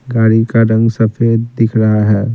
गाड़ी का रंग सफेद दिख रहा है।